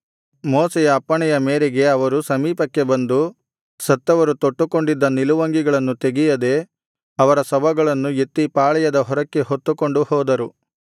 ಮೋಶೆಯ ಅಪ್ಪಣೆಯ ಮೇರೆಗೆ ಅವರು ಸಮೀಪಕ್ಕೆ ಬಂದು ಸತ್ತವರು ತೊಟ್ಟುಕೊಂಡಿದ್ದ ನಿಲುವಂಗಿಗಳನ್ನು ತೆಗೆಯದೆ ಅವರ ಶವಗಳನ್ನು ಎತ್ತಿ ಪಾಳೆಯದ ಹೊರಕ್ಕೆ ಹೊತ್ತುಕೊಂಡು ಹೋದರು